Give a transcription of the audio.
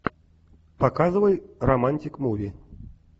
показывай романтик муви